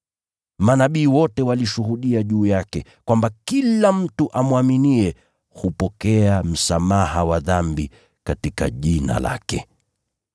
Manabii wote walishuhudia juu yake kwamba kila mtu amwaminiye hupokea msamaha wa dhambi katika Jina lake.”